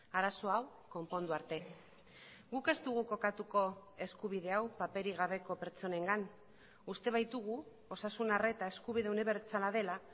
arazo hau konpondu arte guk ez dugu kokatuko eskubide hau paperik gabeko pertsonengan uste baitugu osasun arreta eskubide unibertsala dela